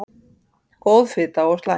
Góð fita og slæm